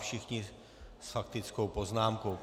Všichni s faktickou poznámkou.